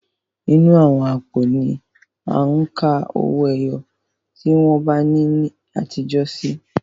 Inú àwọn àpò ni à ń ka owó ẹyọ tí wọ́n n ná ní àtijó sí.